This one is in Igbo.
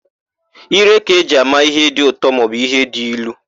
Ire ka-eji ama íhé dị ụtọ maọbụ íhé dị ilu.